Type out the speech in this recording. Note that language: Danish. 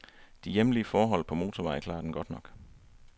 De hjemlige forhold på motorvej klarer den godt nok.